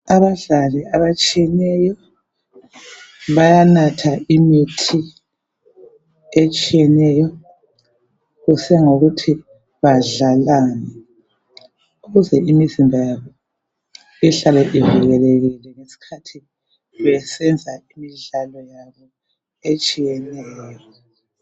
Abadlali abatshiyeneyo bayanatha imithi etshiyeneyo kusiya ngokuthi badlalani ukuze imizimba yabo ihlale ivikelekile ngeskhathi besenza imidlalo yabo etshiyeneyo.